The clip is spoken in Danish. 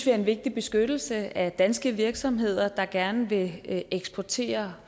er en vigtig beskyttelse af danske virksomheder der gerne vil eksportere